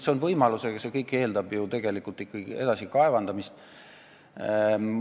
See on võimalus, aga see kõik eeldab tegelikult ikkagi edasi kaevandamist.